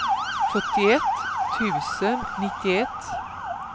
fyrtioett tusen nittioett